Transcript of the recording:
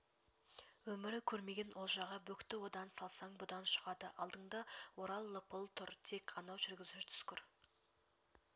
өмірі көрмеген олжаға бөкті одан салсаң бұдан шығады алдыңды орап лыпып тұр тек анау жүргізуші түскір